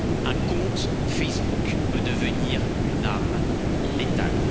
Un compte Facebook peut devenir une arme létale.